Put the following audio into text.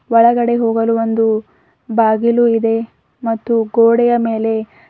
ಒಳಗಡೆ ಹೋಗಲು ಒಂದು ಬಾಗಿಲು ಇದೆ ಮತ್ತು ಗೋಡೆಯ ಮೇಲೆ--